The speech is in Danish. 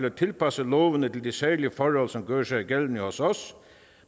at tilpasse lovene til de særlige forhold som gør sig gældende hos os